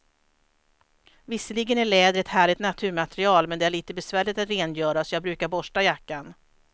Visserligen är läder ett härligt naturmaterial, men det är lite besvärligt att rengöra, så jag brukar borsta jackan.